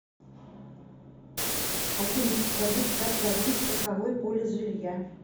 афина подскажите как продлить страховой полис жилья